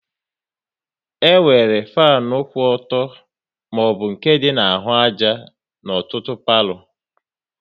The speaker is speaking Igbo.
E nwere fanu kwụ ọtọ maọbụ nke dị na-ahụ àjà n'ọtụtụ palo